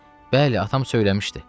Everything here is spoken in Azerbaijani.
Bəli, atam söyləmişdi,